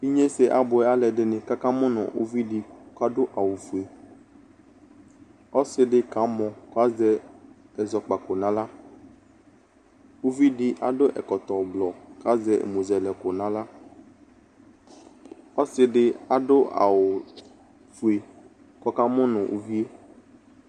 inyese aboɛ n'aloɛdini k'aka mo no uvi di k'ado awu fue ɔse di kamɔ k'azɛ ɛzɔkpako n'ala uvi di ado ɛkɔtɔ ublɔ k'azɛ ɛmozɛlɛko n'ala ɔse di ado awu fue k'ɔka mo no uvie